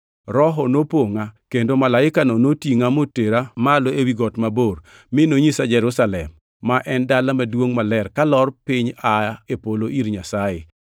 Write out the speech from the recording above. Roho nopongʼa kendo malaikano notingʼa motera malo ewi got mabor, mi nonyisa Jerusalem, ma en Dala Maduongʼ Maler, kalor piny aa e polo ir Nyasaye.